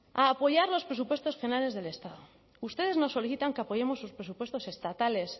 a apoyar los presupuestos generales del estado ustedes nos solicitan que apoyemos sus presupuestos estatales